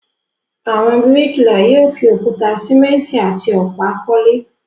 Àwọn bíríkìlà yóò fi òkúta, sìmẹ́ńtì àti ọ̀pá kọ́lé.